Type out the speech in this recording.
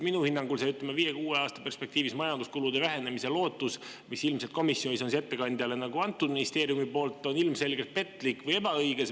Minu hinnangul see, ütleme, viie-kuue aasta perspektiivis majanduskulude vähenemise lootus, mille ministeerium ilmselt komisjoni ettekandjale ette andis, on ilmselgelt petlik või ebaõige.